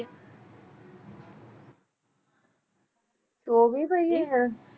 ਚੌਵੀ ਪਹੀਏ ਹਾਂ